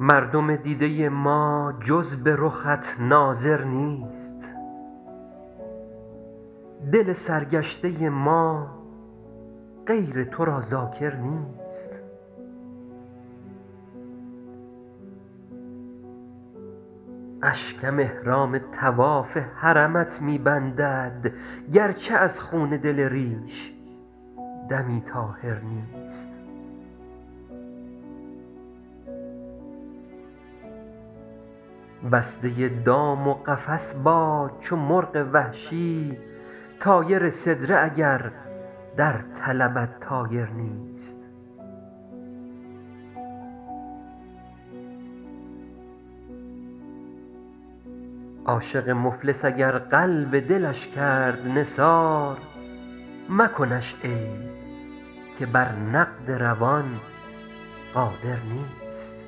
مردم دیده ما جز به رخت ناظر نیست دل سرگشته ما غیر تو را ذاکر نیست اشکم احرام طواف حرمت می بندد گرچه از خون دل ریش دمی طاهر نیست بسته دام و قفس باد چو مرغ وحشی طایر سدره اگر در طلبت طایر نیست عاشق مفلس اگر قلب دلش کرد نثار مکنش عیب که بر نقد روان قادر نیست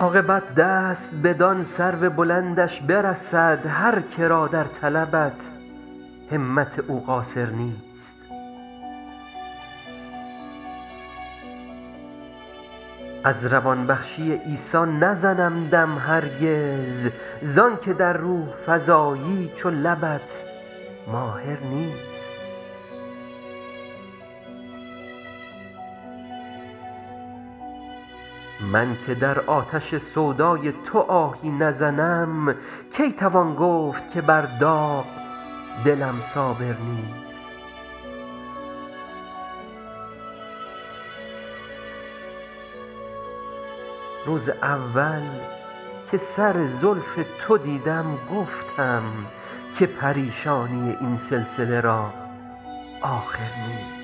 عاقبت دست بدان سرو بلندش برسد هر که را در طلبت همت او قاصر نیست از روان بخشی عیسی نزنم دم هرگز زان که در روح فزایی چو لبت ماهر نیست من که در آتش سودای تو آهی نزنم کی توان گفت که بر داغ دلم صابر نیست روز اول که سر زلف تو دیدم گفتم که پریشانی این سلسله را آخر نیست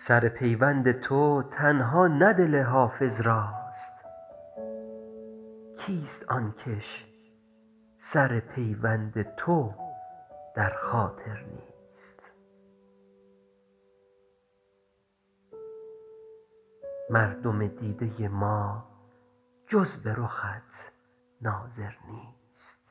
سر پیوند تو تنها نه دل حافظ راست کیست آن کش سر پیوند تو در خاطر نیست